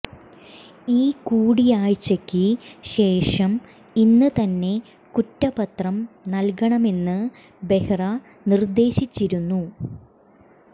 ഈ കൂടിയാഴ്ചയ്ക്ക് ശേഷം ഇന്ന് തന്നെ കുറ്റപത്രം നൽകണമെന്ന് ബെഹ്റ നിർദ്ദേശിച്ചിരുന്നു